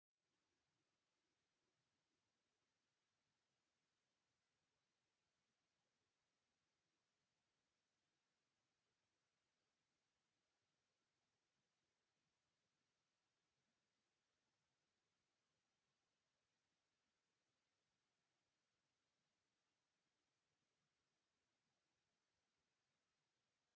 ...